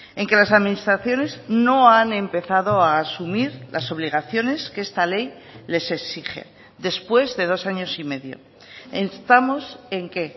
en que las administraciones no han empezado a asumir las obligaciones que esta ley les exige después de dos años y medio estamos en que